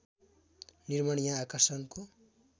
निर्माण यहाँ आकर्षणको